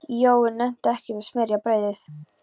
Jói nennti ekkert að smyrja brauðið.